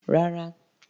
Rárá.